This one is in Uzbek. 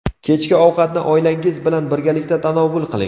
Kechki ovqatni oilangiz bilan birgalikda tanovul qiling.